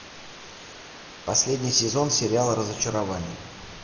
последний сезон сериала разочарование